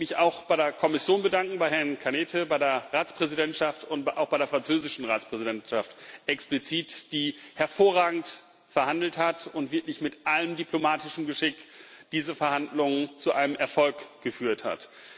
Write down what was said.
Ich möchte mich auch bei der Kommission bedanken, bei Herrn Arias Cañete, bei der Ratspräsidentschaft und auch explizit bei der französischen Konferenzpräsidentschaft, die hervorragend verhandelt hat und wirklich mit allem diplomatischen Geschick diese Verhandlungen zu einem Erfolg geführt hat.